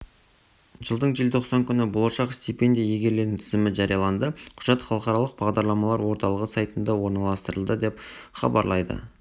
жылдың желтоқсан күні болашақ стипендия иегерлерінің тізімі жарияланды құжат халықаралық бағдарламалар орталығы сайтында орналастырылды деп хабарлайды